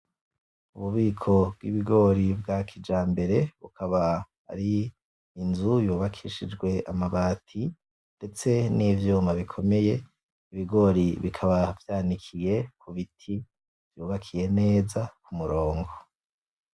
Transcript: Ububiko bw’ibigori bwa kijambere, bukaba ari inzu yubakishijwe amabati, ndetse n’ivyuma bikomeye. Ibigori bikaba vyanikiye ku biti vyubakiye neza ku murongo.